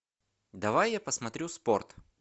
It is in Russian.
давай я посмотрю спорт